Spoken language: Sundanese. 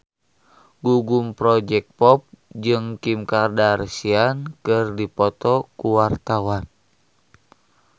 Gugum Project Pop jeung Kim Kardashian keur dipoto ku wartawan